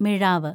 മിഴാവ്